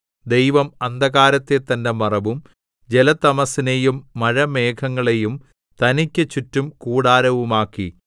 ദൈവം അന്ധകാരത്തെ തന്റെ മറവും ജലതമസ്സിനെയും മഴമേഘങ്ങളെയും തനിക്കു ചുറ്റും കൂടാരവുമാക്കി